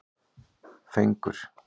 Fengur